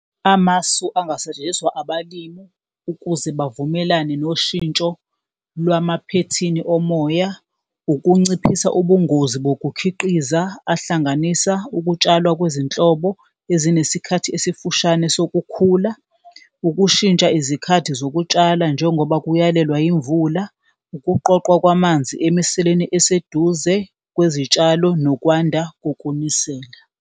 Amasu angasetshenziswa abalimu ukuze bavumelane noshintsho lwamaphethini omoya ukunciphisa ubungozi bokukhiqiza ahlanganisa ukutshalwa kwezinhlobo ezinesikhathi esifushane sokukhula, ukushintsha izikhathi zokutshala njengoba kuyalelwa yimvula, ukuqoqwa kwamanzi emiseleni eseduze kwezitshalo, nokwanda kokunisela.